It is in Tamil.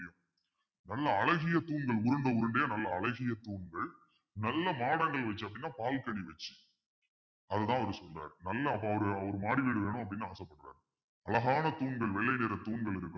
நல்ல அழகிய தூண்கள் உருண்டை உருண்டையா நல்ல அழகிய தூண்கள் நல்ல மாடங்கள் வெச்சிருக்கணும் பால்கனி வச்சு அது அதுதான் அவர் சொல்றாரு நல்லா ஒரு ஒரு மாடி வீடு வேணும் அப்பிடின்னு ஆசைப்படுறாரு அழகான தூண்கள் வெள்ளை நிற தூண்கள் இருக்கணும்